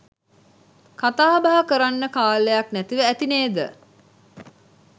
කතාබහ කරන්න කාලයක් නැතිව ඇති නේද?